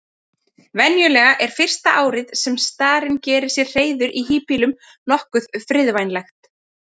Venjulega er fyrsta árið sem starinn gerir sér hreiður í híbýlum nokkuð friðvænlegt.